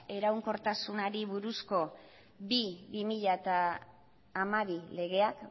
iraunkortasunari buruzko bi barra bi mila hamabi legeak